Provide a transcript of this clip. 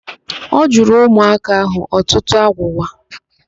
Ọ jụrụ ụmụaka ahụ ọtụtụ agwụgwa.